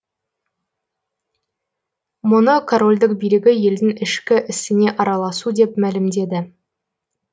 мұны корольдік билігі елдің ішкі ісіне араласу деп мәлімдеді